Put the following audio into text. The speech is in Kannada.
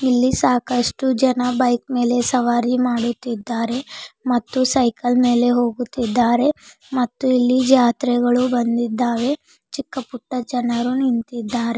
ಇಲ್ಲಿ ಸಾಕಷ್ಟು ಜನ ಬೈಕ್ ಮೇಲೆ ಸವಾರಿ ಮಾಡುತ್ತಿದ್ದಾರೆ ಮತ್ತು ಸೈಕಲ್ ಮೇಲೆ ಹೋಗುತ್ತಿದ್ದಾರೆ ಮತ್ತು ಇಲ್ಲಿ ಜಾತ್ರೆಗಳು ಬಂದಿದ್ದಾವೆ ಚಿಕ್ಕ ಪುಟ್ಟ ಜನರು ನಿಂತಿದ್ದಾರೆ.